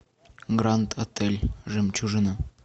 гранд отель жемчужина